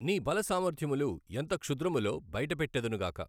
నీ బల సామర్థ్యములు ఎంత క్షుద్రములో బయట పెట్టెదను గాక!